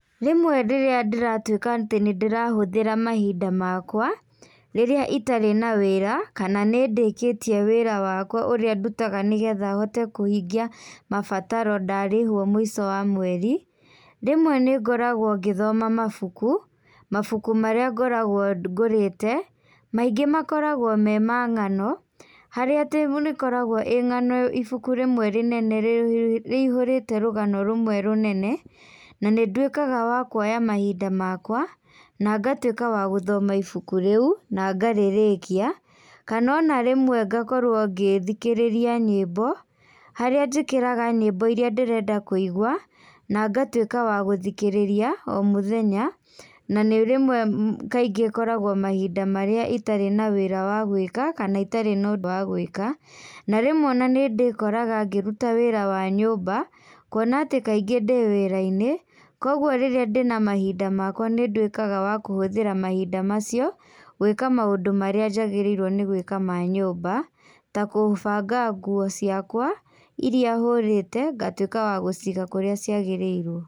Rĩmwe rĩrĩa ndĩratuĩka atĩ nĩndĩrahũthĩra mahinda makwa, rĩrĩa itarĩ na wĩra, kana nĩ ndĩkĩtie wĩra wakwa ũrĩa ndutaga nĩgetha hote kũhingia mabataro ndarĩhuo mũico wa mweri, rĩmwe nĩngoragwo ngĩthoma mabuku, mabuku marĩa ngoragwo ngũrĩte, maingĩ makoragwo me ma ng'ano, harĩa atĩ nĩ koragwoĩ ng'ano ĩ ibuku rĩmwe rĩnene rĩihũrĩte rũgano rũmwe rũnene, na nĩnduĩkaga wa kuoya mahinda makwa, na ngatuĩka wa gũthoma ibuku rĩu, nangarĩrĩkia, kana ona rĩmwe ngakorwo ngĩthikĩrĩria nyĩmbo, harĩa njĩkĩraga nyĩmbo iria ndĩrenda kũigua, na ngatuĩka wa gũthikĩrĩria o mũthenya, na nĩ rĩmwe kaingĩ ĩkoragwo mahinda marĩa itarĩ na wĩra wa gũika kana itarĩ na ũndũ wa guika, na rĩmwe ona nĩ ndĩkoraga ngĩruta wĩra wa nyũmba, kuona atĩ kaingĩ ndĩ wĩrainĩ, koguo rĩrĩa ndĩna mahinda makwa nĩnduĩkaga wa kũhũthĩra mahinda macio, gwĩka maũndũ marĩa njagĩrĩirwo gwĩka ma nyũmba ta gũbanga nguo ciakwa iria hũrĩte, ngatuĩka wa gũciga kũrĩa ciagĩrĩirwo.